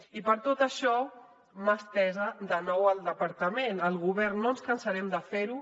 i per tot això mà estesa de nou al departament al govern no ens cansarem de fer ho